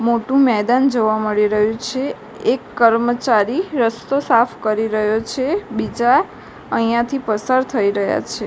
મોટું મેદાન જોવા મળી રહ્યું છે એક કર્મચારી રસ્તો સાફ કરી રહ્યો છે બીજા અહીંયાથી પસાર થઈ રહ્યા છે.